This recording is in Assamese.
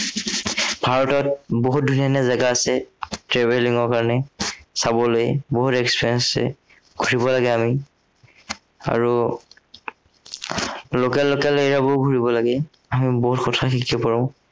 ভাৰতত বহুত ধুনীয়া ধুনীয়া জেগা আছে। travelling ৰ কাৰনে, চাবলে বহুত experience আছে পঢ়িব লাগে আমি আৰু উম local local area বোৰ ঘূৰিব লাগে। আমি বহুত কথা শিকিব পাৰো।